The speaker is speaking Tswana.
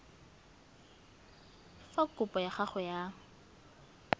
fa kopo ya gago ya